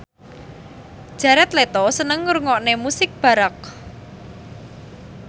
Jared Leto seneng ngrungokne musik baroque